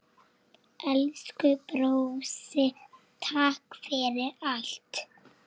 Elsku brósi, takk fyrir allt.